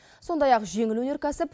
сондай ақ жеңіл өнеркәсіп